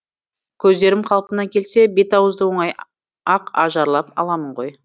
көздерім қалпына келсе бет ауызды оңай ақ ажарлап аламын ғой